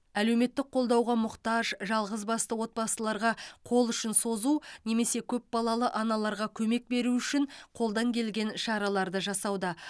әлеуметтік қолдауға мұқтаж жалғызбасты отбасыларға қол ұшын созу немесе көпбалалы аналарға көмек беру үшін қолдан келген шараларды жасауда